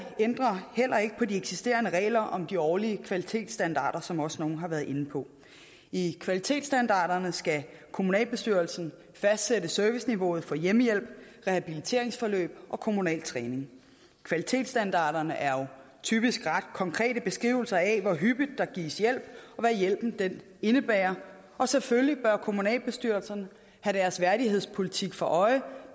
ændrer heller ikke på de eksisterende regler om de årlige kvalitetsstandarder som også nogle har været inde på i kvalitetsstandarderne skal kommunalbestyrelsen fastsætte serviceniveauet for hjemmehjælp rehabiliteringsforløb og kommunal træning kvalitetsstandarderne er jo typisk ret konkrete beskrivelser af hvor hyppigt der gives hjælp og hvad hjælpen indebærer og selvfølgelig bør kommunalbestyrelserne have deres værdighedspolitik for øje